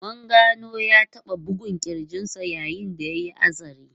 Mun gano ya taba bugun kirjin sa yayin da ya yi hatsari.